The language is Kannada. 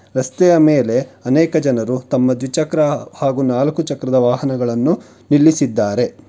ರಸ್ತೆಯ ಮೇಲೆ ಅನೇಕ ಜನರು ತಮ್ಮ ದ್ವಿಚಕ್ರ ಹಾಗು ನಾಲ್ಕು ಚಕ್ರದ ವಾಹನಗಳನ್ನು ನಿಲ್ಲಿಸಿದ್ದಾರೆ.